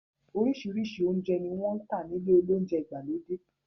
Orísirísi ounjẹ ni wọn n tà ní ilé olounjẹ ìgbàlódé